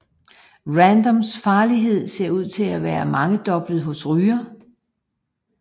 Radons farlighed ser ud til at være mangedobblet hos rygere